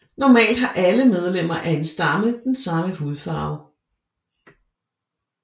Normalt har alle medlemmer af en stamme den samme hudfarve